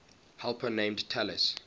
helper named talus